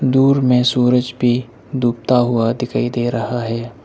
दूर में सूरज भी डूबता हुआ दिखाई दे रहा है।